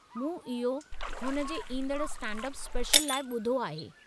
मूं इहो हुन जे ईंदड़ु स्टैंड-अप स्पेशल लाइ ॿुधो आहे।